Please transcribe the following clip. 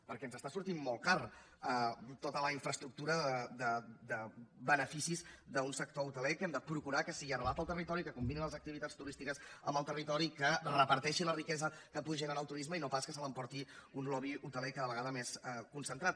perquè ens està sortint molt cara tota la infraestructura de beneficis d’un sector hoteler que hem de procurar que sigui arrelat al territori que combini les activitats turístiques amb el territori que reparteixi la riquesa que pugui generar el turisme i no pas que se l’emporti un lobby hoteler cada vegada més concentrat